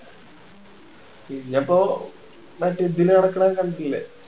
പിന്നെ ഇപ്പൊ മറ്റേ ഇതില് നടക്കണ കണ്ടില്ലേ